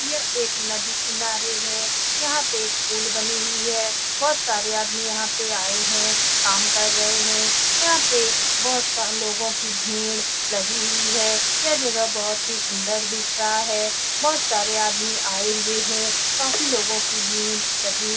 यह एक नदी किनारे है यहाँ पे एक पुल बनी हुई है बहुत सारे आदमी यहाँ पे आए हैं काम कर रहे हैं यहाँ पे बहुत सारे लोगो की भीड़ लगी हुए है यह जगह बहुत ही सुन्दर दिख रहा है बहुत सारे आदमी आए हुए हैं काफी लोगो की भीड़ लगी हुई है।